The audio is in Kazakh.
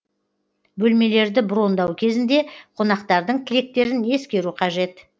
бөлмелерді брондау кезінде қонақтардың тілектерін ескеру қажет